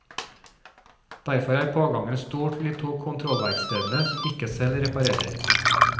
Derfor er pågangen stor til de to kontrollverkstedene som ikke selv reparerer.